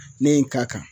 Ne ye n k'a kan